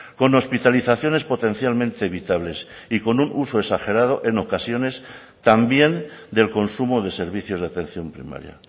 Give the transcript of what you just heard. con hospitalizaciones potencialmente evitables y con un uso exagerado en ocasiones también del consumo de servicios de atención primaria